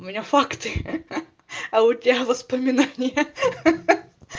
у меня факты а у тебя воспоминания ха-ха